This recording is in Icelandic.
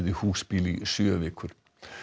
í húsbíl í sjö vikur